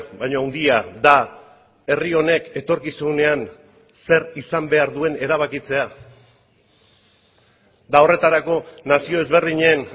baina handia da herri honek etorkizunean zer izan behar duen erabakitzea eta horretarako nazio ezberdinen